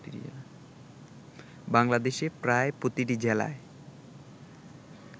বাংলাদেশে প্রায় প্রতিটি জেলায়